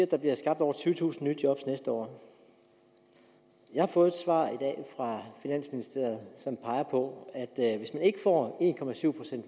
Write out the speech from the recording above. at der bliver skabt over tyvetusind nye job næste år jeg har fået et svar i dag fra finansministeriet som peger på at at hvis man ikke får